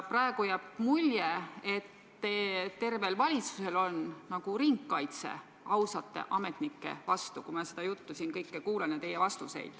Praegu, kuulates seda juttu ja teie vastuseid, jääb mulje, et terve valitsus on asunud nagu ringkaitsesse ausate ametnike vastu.